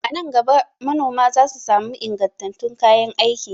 A nan gaba manoma za su sami ingantattun kayan aiki.